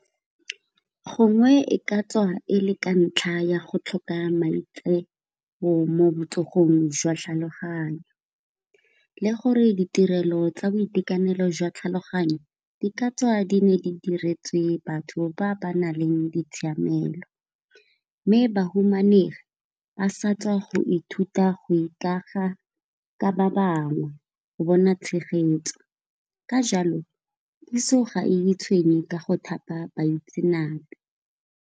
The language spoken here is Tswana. Gongwe e ka tswa e le ka ntlha ya go tlhoka mo botsogong jwa tlhaloganyo, le gore ditirelo tsa boitekanelo jwa tlhaloganyo di ka tswa di ne di diretswe batho ba ba naleng ditshiamelo, mme bahumanegi ba sa tswa go ithuta go ikaga ka ba bangwe go bona tshegetso ka jalo puso ga e tshwenye ka go thapa baitsenape.